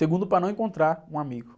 Segundo, para não encontrar um amigo.